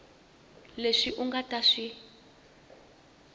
leswi u nga ta swi